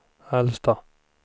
äldsta